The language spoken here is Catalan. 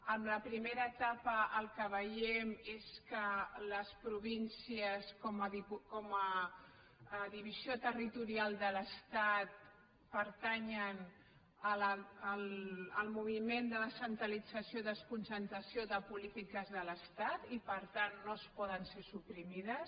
en la primera etapa el que veiem és que les províncies com a divisió territorial de l’estat pertanyen al moviment de descentralització i desconcentració de polítiques de l’estat i per tant no poden ser suprimides